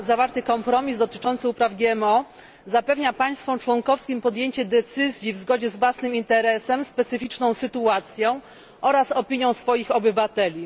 Zawarty kompromis dotyczący upraw GMO umożliwia państwom członkowskim podjęcie decyzji w zgodzie z własnym interesem, specyficzną sytuacją oraz opinią swoich obywateli.